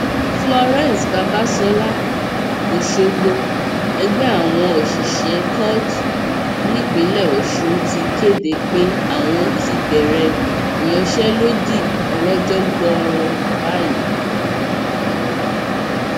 florence babasola ọṣọgbó ẹgbẹ àwọn òṣìṣẹ kóòtù nípínlẹ ọsùn ti kéde pé àwọn ti bẹrẹ ìyanṣẹlódì ọlọjọ gbọọrọ báyìí